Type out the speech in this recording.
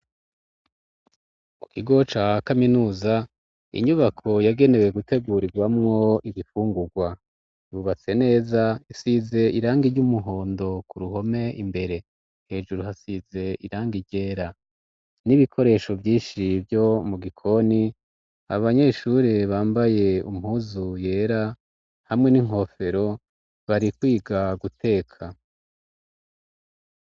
Mu kigo ca kaminuza, inyubako yagenewe gutegurirwamwo ibifungurwa, yubatse neza, isize irangi ry'umuhondo k'uruhome imbere, hejuru hasize irangi ryera n'ibikoresho vyinshi vyo mu gikoni, abanyeshuri bambaye impuzu yera hamwe n'inkofero, bari kwiga guteka.